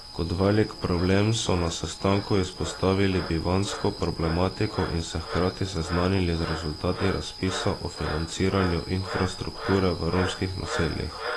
Kot velik problem so na sestanku izpostavili bivanjsko problematiko in se hkrati seznanili z rezultati razpisa o financiranju infrastrukture v romskih naseljih.